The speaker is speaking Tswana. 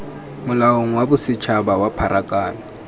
molaong wa bosetshaba wa pharakano